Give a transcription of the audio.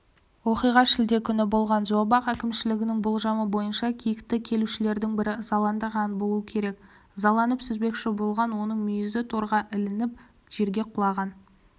оқиға шілде күні болған зообақ әкімшілігінің болжамы бойынша киікті келушілердің бірі ызаландырған болу керек ызаланып сүзбекші болған оның мүйізі торғаілініп жерге құлаған